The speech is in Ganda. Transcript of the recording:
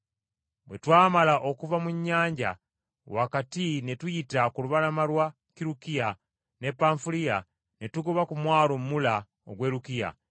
Bwe twamala okuva mu nnyanja wakati ne tuyita ku lubalama lwa Kirukiya ne Panfuliya, ne tugoba ku mwalo Mula ogw’e Lukiya.